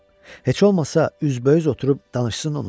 Heç olmasa üzbəüz oturub danışsın onunla.